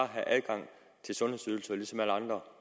have adgang til sundhedsydelser ligesom alle andre